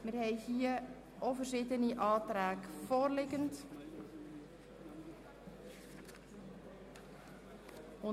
Löhne BIAS (Beschäftigungs- und Integrationsangebote Sozialhilfe), Massnahme 44.7.5